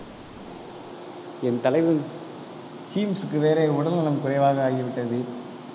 என் தலைவன் வேற உடல்நலம் குறைவாக ஆகிவிட்டது.